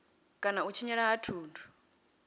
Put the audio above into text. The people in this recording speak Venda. kana u tshinyala ha thundu